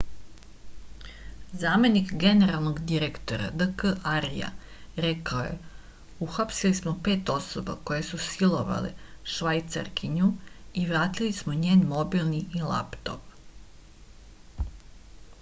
zamenik generalnog inspektora d k arja rekao je uhapsili smo pet osoba koje su silovale švajcarkinju i vratili smo njen mobilni i laptop